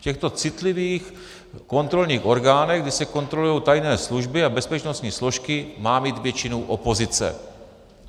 V těchto citlivých kontrolních orgánech, kdy se kontrolují tajné služby a bezpečnostní složky, má mít většinu opozice.